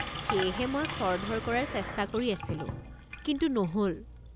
সেয়েহে মই খৰধৰ কৰাৰ চেষ্টা কৰি আছিলো কিন্তু নহ'ল।